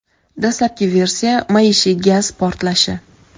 Dastlabki versiya — maishiy gaz portlashi.